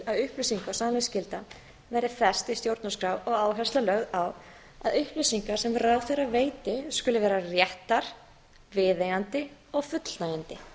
upplýsinga og sannleiksskylda verði fest í stjórnarskrá og áhersla lögð á að upplýsingar sem ráðherra veiti skuli vera réttar viðeigandi og fullnægjandi